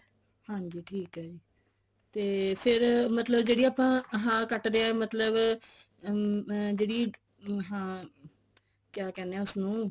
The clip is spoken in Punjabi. ਹਾਂਜੀ ਠੀਕ ਐ ਜੀ ਤੇ ਫੇਰ ਮਤਲਬ ਜਿਹੜੀ ਆਪਾਂ ਹਾਂ ਕੱਟਦੇ ਆ ਮਤਲਬ ਅਮ ਜਿਹੜੀ ਹਾਂ ਕਿਆ ਕਹਿੰਦੇ ਆ ਉਸਨੂੰ